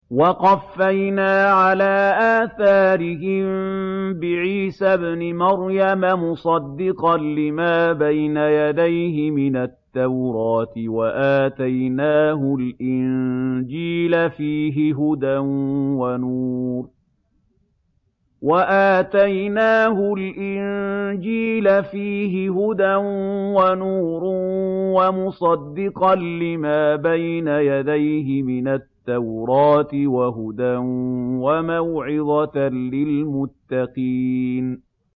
وَقَفَّيْنَا عَلَىٰ آثَارِهِم بِعِيسَى ابْنِ مَرْيَمَ مُصَدِّقًا لِّمَا بَيْنَ يَدَيْهِ مِنَ التَّوْرَاةِ ۖ وَآتَيْنَاهُ الْإِنجِيلَ فِيهِ هُدًى وَنُورٌ وَمُصَدِّقًا لِّمَا بَيْنَ يَدَيْهِ مِنَ التَّوْرَاةِ وَهُدًى وَمَوْعِظَةً لِّلْمُتَّقِينَ